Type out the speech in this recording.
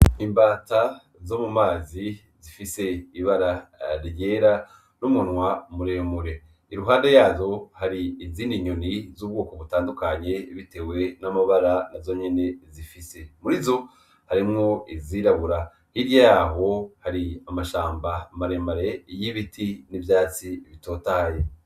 Imbata zo mu mazi zifise ibara ryera r'umunwa muremure iruhande yazo hari izina inyoni z'ubwoko butandukanye, bitewe n'amabara na zo nyene zifise muri zo harimwo izirabura hiry yaho hari amashamba maremare iy'ibiti ivyatsi bitotaye.